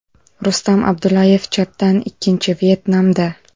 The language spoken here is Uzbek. Rustam Abdullayev (chapdan ikkinchi) Vyetnamda.